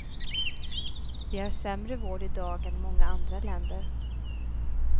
Vi har sämre vård idag än många andra länder.